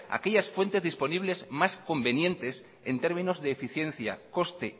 aquellas fuente disponibles más convenientes en términos de eficiencia coste